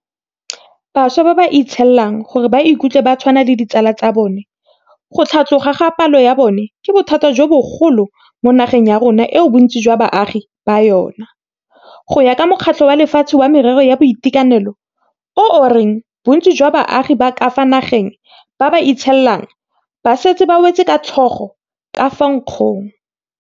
Bašwa ba ba itshielang gore ba ikutlwe ba tshwana le ditsala tsa bona go tlhatloga ga palo ya bona ke bothata jo bogolo mo nageng ya rona eo bontsi jwa baagi ba yona, go ya ka Mokgatlho wa Lefatshe wa Merero ya Boitekanelo, o o reng bontsi jwa baagi ba ka fa nageng ba ba itshielang ba setse ba wetse ka tlhogo ka fa nkgong.